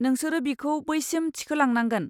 नोंसोरो बिखौ बैसिम थिखोलांनांगोन।